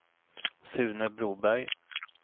Sune Broberg